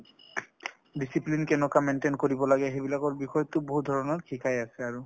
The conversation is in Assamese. discipline কেনেকৈ maintain কৰিব লাগে সেইবিলাকৰ বিষয়ে টো বহুত ধৰণৰ শিকায় আছে আৰু।